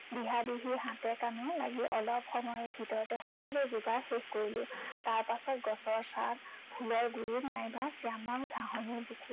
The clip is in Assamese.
দিহাদিহি হাতে কামে লাগি অলপ সময়ৰ ভিতৰতে সকলো জোগাৰ শেষ কৰিলো। তাৰপাছত গছৰ ছাঁত, ফুলৰ গুৰিত নাইবা শ্য়ামল ঘাঁহনিৰ বুকুত